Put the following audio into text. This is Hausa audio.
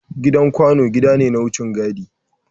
Gidan kwano gida ne na wucin gadi.